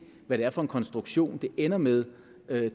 hvad det er for en konstruktion det ender med